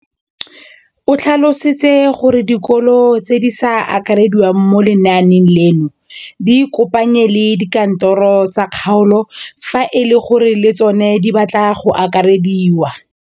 O tlhalositse gore dikolo tse di sa akarediwang mo lenaaneng leno di ikopanye le dikantoro tsa kgaolo fa e le gore le tsona di batla go akarediwa.